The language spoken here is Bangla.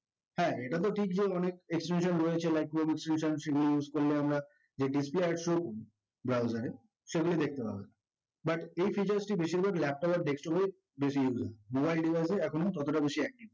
হে ইটা তো ঠিক যে অনেক extension রয়েছে যেমন chrome extension use করলে আমরা সেগুলো দেখতে পারবো but এই features টি বেশিরভাগ laptop আর desktop এই বেশি use হয় mobile device এ এখনো ততোটা বেশি